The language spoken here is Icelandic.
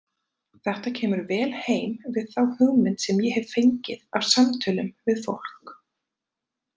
Þetta kemur vel heim við þá hugmynd sem ég hef fengið af samtölum við fólk.